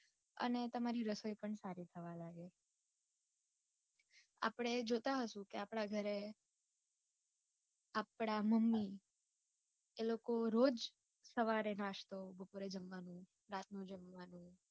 અને તમારી રસોઈ પણ સારી થવા લાગે. આપડે જોતાં હશું કે આપડા ઘરે આપડા mummy એ લોકો રોજ સવારે નાસ્તો, બપોરે જમવાનું, રાતનું જમવાનું